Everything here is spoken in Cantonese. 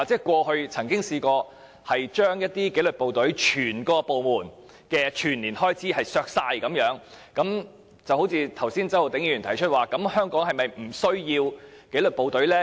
過去我們曾經削減一些紀律部隊整個部門的全年預算開支，周浩鼎議員剛才說，香港是否不需要紀律部隊呢？